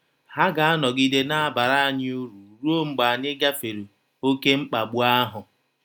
Ha ga - anọgide na - abara anyị ụrụ rụọ mgbe anyị gafere ‘ ọké mkpagbụ ahụ. ’